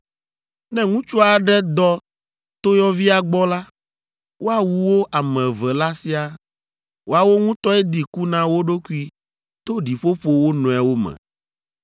“ ‘Ne ŋutsu aɖe dɔ toyɔvia gbɔ la, woawu wo ame eve la siaa; woawo ŋutɔe di ku na wo ɖokui to ɖiƒoƒo wo nɔewo me.